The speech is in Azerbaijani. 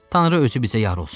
Tanrı özü bizə yar olsun.